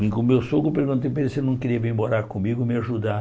Vim com o meu sogro, perguntei para ele se ele não queria vir morar comigo e me ajudar.